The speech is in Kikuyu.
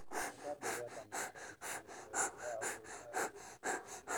Mũgabe gwathana kũandĩkithio kwerũ kwa ahũri a kuura.